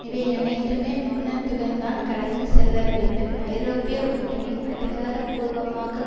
இவையனைத்தையுமே மெளனத்துடன்தான் கடந்து செல்ல வேண்டும் ஐரோப்பிய ஒன்றியம் அதிகாரபூர்வமாகக்